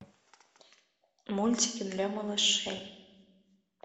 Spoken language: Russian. мультики для малышей